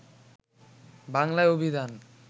বাংলা অভিধান